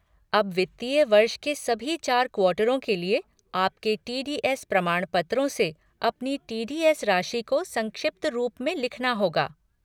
अब वित्तीय वर्ष के सभी चार क्वार्टरों के लिए आपके टी डी एस प्रमाणपत्रों से अपनी टी.डी.एस. राशि को संक्षिप्त रूप में लिखना होगा।